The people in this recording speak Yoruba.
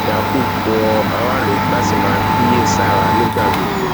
yakub rọ aráàlú láti máa kíyè sára nígbà gbogbo